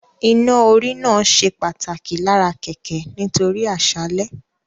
Iná-orí náà ṣe pàtàkì lára kẹ̀kẹ́ nítorí àṣálẹ́